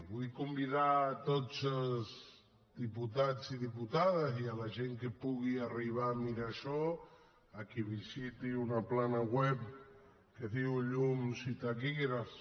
vull convidar tots els diputats i diputades i la gent que pugui arribar a mirar això que visiti una pàgina web que es diu llumsitaquigrafs